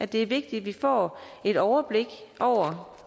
det er vigtigt at vi får et overblik